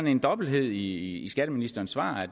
en dobbelthed i skatteministerens svar